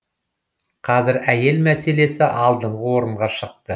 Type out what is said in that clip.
қазір әйел мәселесі алдыңғы орынға шықты